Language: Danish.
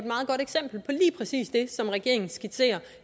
et præcis det som regeringen skitserer